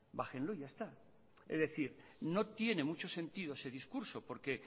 bájenlo y ya está es decir no tiene mucho sentido ese discurso porque